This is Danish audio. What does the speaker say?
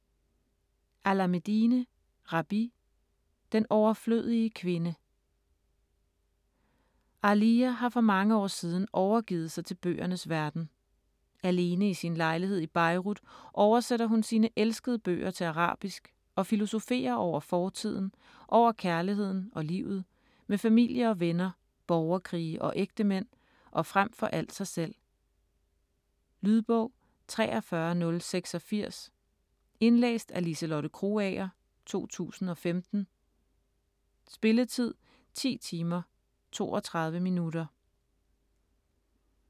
Alameddine, Rabih: Den overflødige kvinde Aaliya har for mange år siden overgivet sig til bøgernes verden. Alene i sin lejlighed i Beirut oversætter hun sine elskede bøger til arabisk og filosoferer over fortiden, over kærligheden og livet, med familie og venner, borgerkrige og ægtemænd og frem for alt sig selv. Lydbog 43086 Indlæst af Liselotte Krogager, 2015. Spilletid: 10 timer, 32 minutter.